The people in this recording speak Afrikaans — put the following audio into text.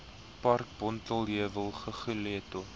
park bonteheuwel guguletu